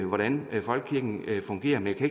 hvordan folkekirken fungerer men jeg